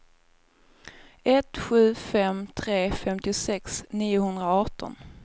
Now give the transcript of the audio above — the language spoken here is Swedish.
ett sju fem tre femtiosex niohundraarton